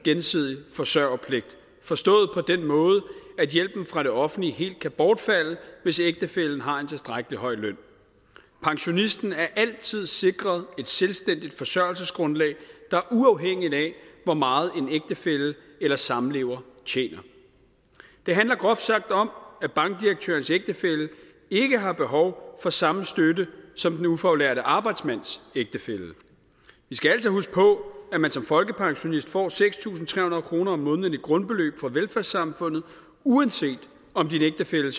gensidig forsørgerpligt forstået på den måde at hjælpen fra det offentlige helt kan bortfalde hvis ægtefællen har en tilstrækkelig høj løn pensionisten er altid sikret et selvstændigt forsørgelsesgrundlag der er uafhængigt af hvor meget en ægtefælle eller samlever tjener det handler groft sagt om at bankdirektørens ægtefælle ikke har behov for samme støtte som den ufaglærte arbejdsmands ægtefælle vi skal altså huske på at man som folkepensionist får seks tusind tre hundrede kroner om måneden i med grundbeløb fra velfærdssamfundet uanset om din ægtefælle